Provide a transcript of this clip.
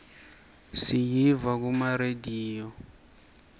siyiva kuma rediyo